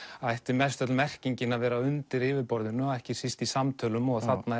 ætti mest öll merkingin að vera undir yfirborðinu ekki síst í samtölum og þarna